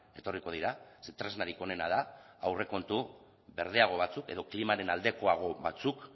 etorriko dira ze tresnarik onena da aurrekontu berdeago batzuk edo klimaren aldekoago batzuk